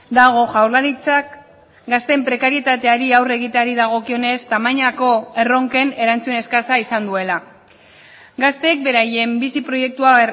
dago jaurlaritzak gazteen prekarietateari aurre egiteari dagokionez tamainako erronken erantzun eskasa izan duela gazteek beraien bizi proiektua